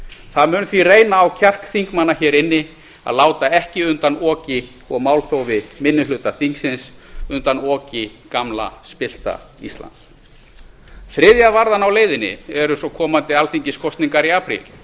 það mun því reyna á kjark þingmanna hér inn að láta ekki undan oki og málþófi minni hluta þingsins undan oki gamla spillta íslands þriðja varðan á leiðinni eru svo komandi alþingiskosningar í apríl